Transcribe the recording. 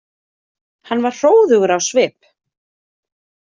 Hann var hróðugur á svip.